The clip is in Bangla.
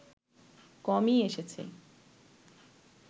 কমই এসেছে